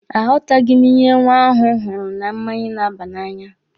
A ghọtaghị ihe nwa ahụ hụrụ na mmanya na-aba n'anya.